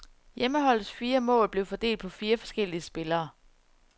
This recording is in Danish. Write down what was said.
Hjemmeholdets fire mål blev fordelt på fire forskellige spillere.